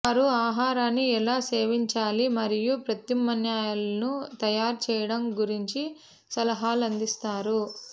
వారు ఆహారాన్ని ఎలా సేవించాలి మరియు ప్రత్యామ్నాయాలను తయారు చేయడం గురించి సలహాలు అందిస్తారు